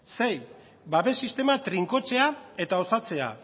sei babes sistema trinkotzea eta osatzea